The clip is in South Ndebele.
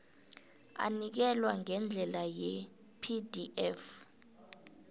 anikelwa ngendlela yepdf